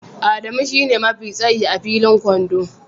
Adamu shine mafi tsayi a filin kwando